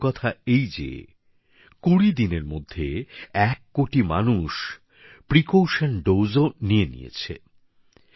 আরেকটি ভালো কথা এই যে কুড়ি দিনের মধ্যে এক কোটি মানুষ সতর্কতামূলক ডোজ ও নিয়ে নিয়েছেন